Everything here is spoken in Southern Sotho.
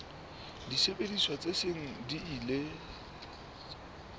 disebediswa tse seng di ile